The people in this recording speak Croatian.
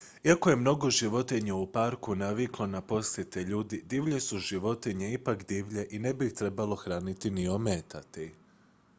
iako je mnogo životinja u parku naviklo na posjete ljudi divlje su životinje ipak divlje i ne bi ih trebalo hraniti ni ometati